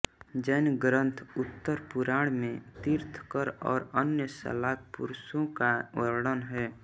जैन ग्रन्थ उत्तरपुराण में तीर्थंकर और अन्य शलाकापुरुषों का वर्णन है